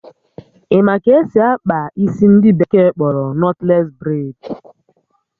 Ị ma ka esị akpa isi ndị bekee kpọrọ nọtles braid?